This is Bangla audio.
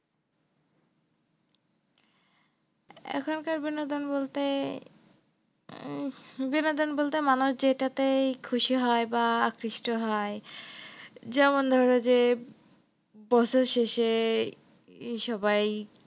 এখনকার বিনোদন বলতে উহ বিনোদন বলতে মানুষ যেটাতেই খুশি হয় বা আকৃষ্ট হয় যেমন ধরো যে বছর শেষে সবাই,